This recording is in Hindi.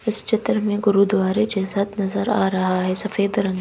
इस चित्र में गुरुद्वारे जैसाथ नजर आ रहा है सफेद रंग--